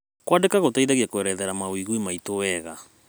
Kũandĩka gũteithagia kũerathera mawĩgwi maitũ wega.